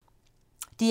DR1